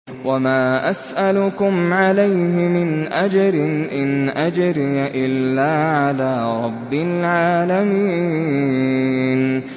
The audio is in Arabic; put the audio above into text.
وَمَا أَسْأَلُكُمْ عَلَيْهِ مِنْ أَجْرٍ ۖ إِنْ أَجْرِيَ إِلَّا عَلَىٰ رَبِّ الْعَالَمِينَ